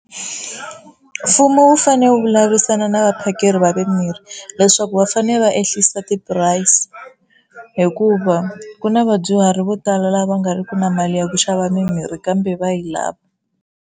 Mfumo wu fane wu vulavurisana na vaphakeri va mimirhi leswaku va fane va enhlisa ti-price, hikuva ku na vadyuhari vo tala lava nga riki na mali ya ku xava mimirhi kambe va yi lava.